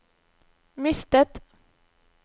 mistet